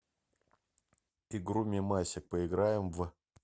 игру мемасик поиграем в